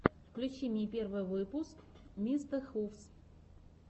включи мне первый выпуск мистэхувс